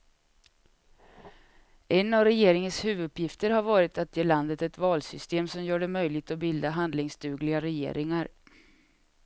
En av regeringens huvuduppgifter har varit att ge landet ett valsystem som gör det möjligt att bilda handlingsdugliga regeringar.